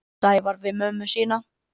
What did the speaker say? Sævar við mömmu sína.